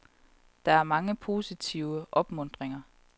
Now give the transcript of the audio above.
Der er mange positive opmuntringer.